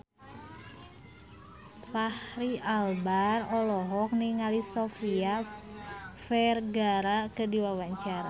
Fachri Albar olohok ningali Sofia Vergara keur diwawancara